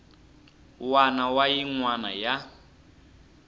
wana na yin wana ya